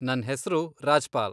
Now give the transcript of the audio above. ನನ್ ಹೆಸ್ರು ರಾಜ್ಪಾಲ್.